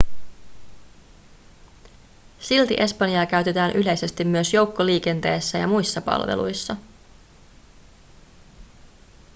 silti espanjaa käytetään yleisesti myös joukkoliikenteessä ja muissa palveluissa